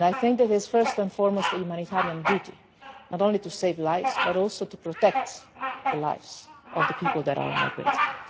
It is, first and foremost, a humanitarian duty not only to save lives but also to protect the lives of the people who are migrating.